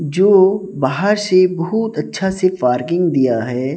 जो बाहर से बहुत अच्छा से पार्किंग दिया है।